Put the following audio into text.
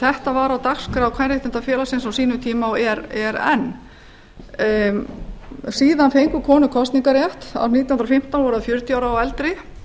þetta var á dagskrá kvenréttindafélagsins á sínum tíma og er enn síðan fengu konur kosningarrétt árið nítján hundruð og fimmtán voru þær fjörutíu ára og eldri